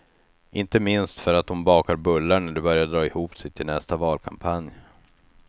Inte minst för att hon bakar bullar när det börjar dra ihop sig till nästa valkampanj.